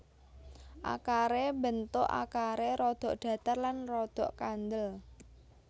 Akaré bentuk akaré rada datar lan rada kandhel